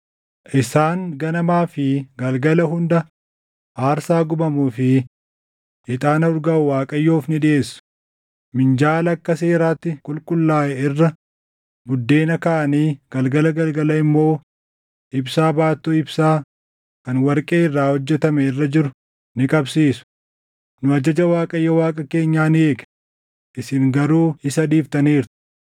Isaan ganamaa fi galgala hunda aarsaa gubamuu fi ixaana urgaaʼu Waaqayyoof ni dhiʼeessu. Minjaala akka seeraatti qulqullaaʼe irra buddeena kaaʼanii galgala galgala immoo ibsaa baattuu ibsaa kan warqee irraa hojjetame irra jiru ni qabsiisu. Nu ajaja Waaqayyo Waaqa keenyaa ni eegna; isin garuu isa dhiiftaniirtu.